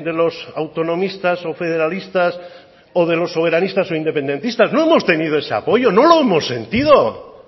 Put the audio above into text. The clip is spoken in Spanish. de los autonomistas o federalistas o de los soberanistas o independentistas no hemos tenido ese apoyo no lo hemos sentido